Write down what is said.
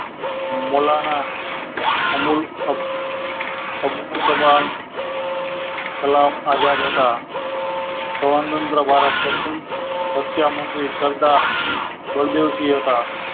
મોલાના અમુલ ઓહ આ ખલામ આઝાદ હતા સ્વતંત્ર ભારત પ્રથમ શિક્ષા મંત્રી સરદાર જરદોશી હતા